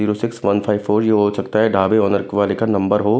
Zero six one five four ये हो सकता है ढाबे ओनर वाले का नंबर हो।